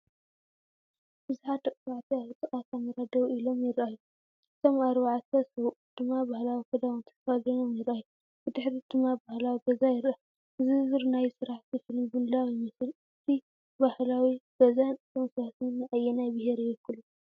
ብዙሓት ደቂ ተባዕትዮ ኣብ ጥቓ ካሜራ ደው ኢሎም ይረኣዩ። እቶም ኣርባዕተ ሰብኡት ድማ ባህላዊ ክዳውንቲ ተኸዲኖም ይረኣዩ፡ ብድሕሪት ድማ ባህላዊ ገዛ ይረአ፡፡ ዝርዝር ናይ ስራሕቲ ፊልም ምድላው ይመስል። እቲ ባህላዊ ገዛን እቶም ሰባትን ንኣየናይ ብሄር ይውክሉ?